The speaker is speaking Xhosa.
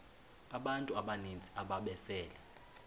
abantu abaninzi ababesele